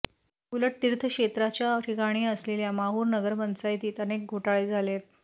उलट तिर्थक्षेत्राच्या ठिकाणी असलेल्या माहुर नगरपंचायतीत अनेक घोटाळे झालेयत